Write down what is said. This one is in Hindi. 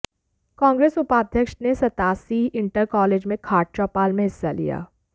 कांग्रेस उपाध्यक्ष ने सतासी इंटर कॉलेज में खाट चौपाल में हिस्सा लिया